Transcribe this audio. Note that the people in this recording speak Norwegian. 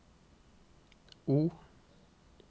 O